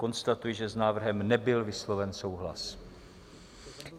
Konstatuji, že s návrhem nebyl vysloven souhlas.